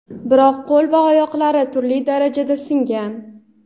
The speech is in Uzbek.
biroq qo‘l va oyoqlari turli darajada singan.